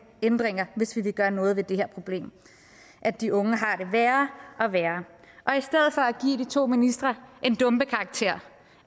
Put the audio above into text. ændringer hvis vi vil gøre noget ved det problem at de unge har det værre og værre og to ministre en dumpekarakter